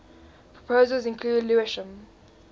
proposals include lewisham